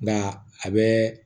Nka a bɛ